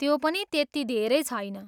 त्यो पनि त्यति धेरै छैन।